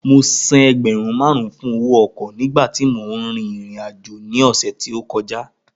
Mo san ẹgbẹ̀rún márùn-ún fún owó ọkọ̀ nígbà tí mò ń rìnrìn àjò ní ọ̀sẹ̀ tí ó kọjá